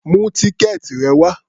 Mú tíkẹ́ẹ̀tì rẹ wá!